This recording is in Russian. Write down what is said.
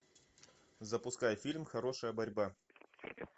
запускай фильм хорошая борьба